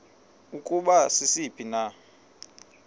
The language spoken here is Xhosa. ukuba sisiphi na